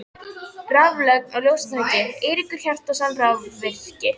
Raflögn og ljósatæki: Eiríkur Hjartarson, rafvirki.